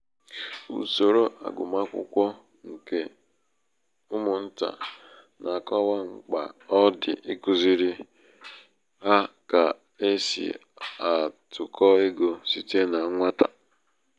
usoro agụmakwụkwọ nke umụnta na-akọwa mkpa ọ dị ikuziri ha ka e si atụkọ ego site na nwata.